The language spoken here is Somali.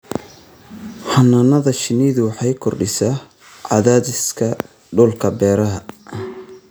Xannaanada shinnidu waxay kordhisaa cadaadiska dhulka beeraha.